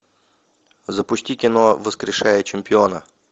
запусти кино воскрешая чемпиона